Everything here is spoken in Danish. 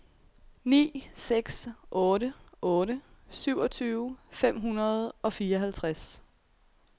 ni seks otte otte syvogtyve fem hundrede og fireoghalvtreds